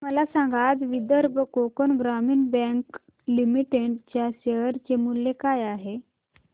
मला सांगा आज विदर्भ कोकण ग्रामीण बँक लिमिटेड च्या शेअर चे मूल्य काय आहे